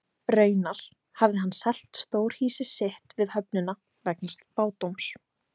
Raunar hafði hann selt stórhýsi sitt við höfnina vegna spádóms.